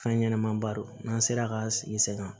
Fɛn ɲɛnɛman ba don n'an sera k'an sigi sen kan